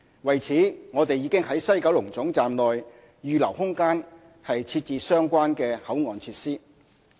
為此，我們已在西九龍總站內預留空間設置相關的口岸設施。